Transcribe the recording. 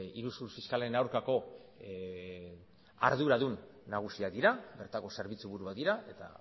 iruzur fiskalen aurkako arduradun nagusiak dira bertako zerbitzu buruak dira eta